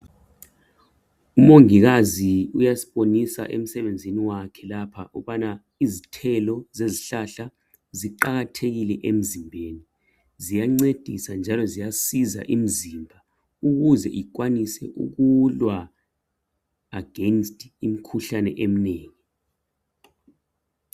Umongikazi uyasibonisa emsebenzini wakhe lapha ukubana izithelo ziyancedisa emzimbeni ukuze ikwanise ukulwa against imikhuhlane eminengi.